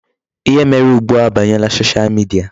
Ihe mere ugbu a abanyela Social media.